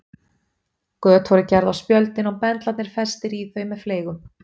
Göt voru gerð á spjöldin og bendlarnir festir í þau með fleygum.